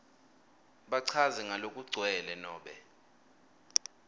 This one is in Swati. bachaze ngalokugcwele nobe